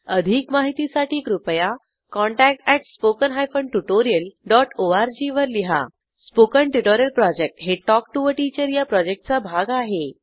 अधिक माहितीसाठी कृपया contact at spoken hyphen tutorial dot ORG वर लिहा स्पोकन ट्युटोरियल प्रॉजेक्ट हे टॉक टू टीचर या प्रॉजेक्टचा भाग आहे